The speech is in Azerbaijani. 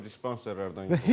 Narkodispenserdən yığılır.